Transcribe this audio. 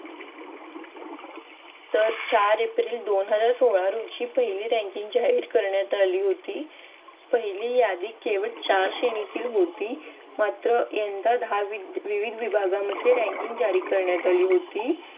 तर चार एप्रिल दोन हजार सोळा रोजी पहिली ranking जाहीर करण्यात आली होती. पहिली यादी केवळ चार श्रेनेतील होती मात्र यंदा दहा विविध विभागांमध्ये ranking जाहीर करण्यात आली होती.